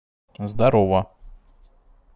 здорова